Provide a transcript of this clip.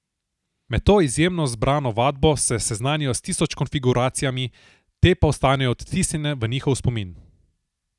Med to izjemno zbrano vadbo se seznanijo s tisoč konfiguracijami, te pa ostanejo odtisnjene v njihov spomin.